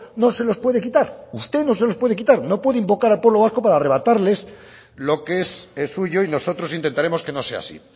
no se los puede quitar usted no se los puede quitar no puede invocar al pueblo vasco para arrebatarles lo que es suyo y nosotros intentaremos que no sea así